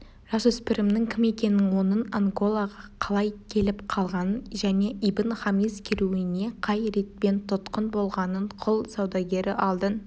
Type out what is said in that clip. жасөспірімнің кім екенін оның анголаға қалай келіп қалғанын және ибн-хамис керуеніне қай ретпен тұтқын болғанын құл саудагері алдын